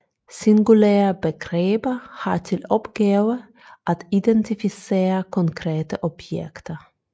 Singulære begreber har til opgave at identificere konkrete objekter